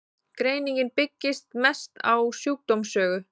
greiningin byggist mest á sjúkdómssögu